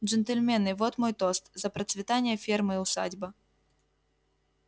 джентльмены вот мой тост за процветание фермы усадьба